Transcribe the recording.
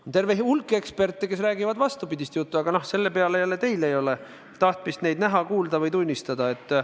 On terve hulk eksperte, kes räägivad vastupidist juttu, aga teil ei ole tahtmist neid näha, kuulda või tunnistada.